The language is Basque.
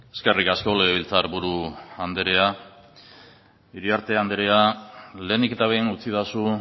eskerrik asko legebiltzar buru anderea iriarte andrea lehenik eta behin utzidazu